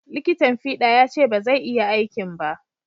Liƙitan fiɗa ya ce ba zai iya aikin ba